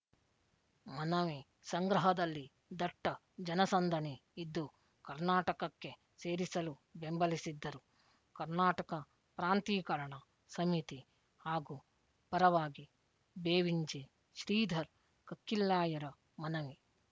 ಮನವಿ ಸಂಗ್ರಹದಲ್ಲಿ ದಟ್ಟ ಜನಸಂದಣಿ ಇದ್ದು ಕರ್ನಾಟಕಕ್ಕೆ ಸೇರಿಸಲು ಬೆಂಬಲಿಸಿದ್ದರು ಕರ್ನಾಟಕ ಪ್ರಾಂತೀಕರಣ ಸಮಿತಿ ಹಾಗೂ ಪರವಾಗಿ ಬೇವಿಂಜೆ ಶ್ರೀಧರ್ ಕಕ್ಕಿಲ್ಲಾಯರ ಮನವಿ